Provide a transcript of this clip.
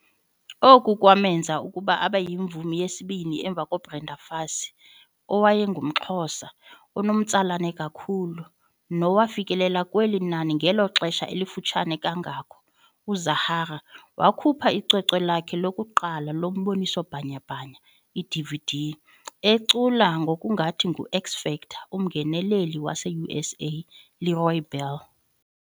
Oku kwamenza okokuba abeyimvumi yesibini emva koBrenda Fassie, owayengumXhosa onomtsalane kakhulu, nowafikelela kweli nani ngelo xesha lifutshane kangako. UZahara wakhupha icwecwe lakhe lokuqala lomboniso bhanyabhanya, iDVD, ecula ngokungathi ngu-X-Factor umngeneli waseUSA LeRoy Bell.